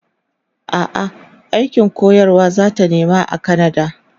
a'a aikin koyarwa zata nema a kanada